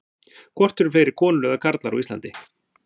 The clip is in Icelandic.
Hvort eru fleiri konur eða karlar á Íslandi?